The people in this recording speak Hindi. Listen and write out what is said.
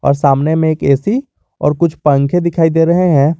और सामने में एक ए_सी और कुछ पंखे दिखाई दे रहे हैं।